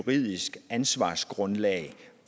juridisk ansvarsgrundlag